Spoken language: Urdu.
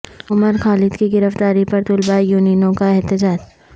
عمر خالد کی گرفتاری پر طلبہ یونینوں کا احتجاج